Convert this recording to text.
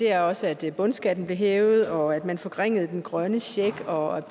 er også at bundskatten blev hævet og at man forringede den grønne check og